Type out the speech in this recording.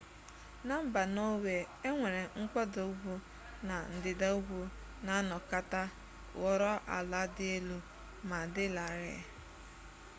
na mba nọọwe enwere mkpọda ugwu na ndịda ugwu na anọkata ghọrọ ala dị elu ma dị larịị